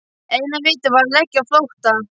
Eina vitið var að leggja á flótta!